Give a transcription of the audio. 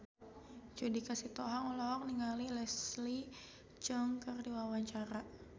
Judika Sitohang olohok ningali Leslie Cheung keur diwawancara